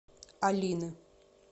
алины